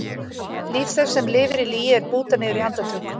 Líf þess sem lifir í lygi er bútað niður í andartök.